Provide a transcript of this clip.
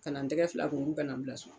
Ka na n tɛgɛ fila ko k'u ka na n bila so